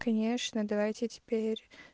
конечно давайте теперь